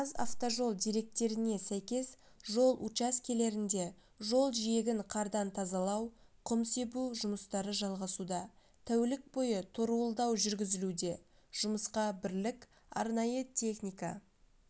қазавтожол деректеріне сәйкес жол учаскелерінде жол жиегін қардан тазалау құм себу жұмыстары жалғасуда тәулік бойы торуылдау жүргізілуде жұмысқа бірлік арнайы техника